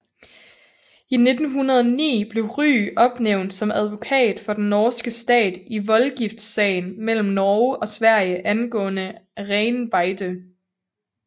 I 1909 blev Rygh opnævnt som advokat for den norske stat i voldgiftssagen mellem Norge og Sverige angående renbeite